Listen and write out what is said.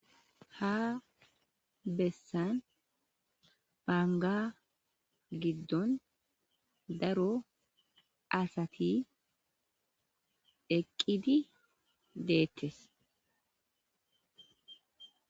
ha bessan baanga giddon daro asati eqqidi deettes